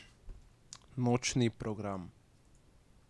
Nočni program.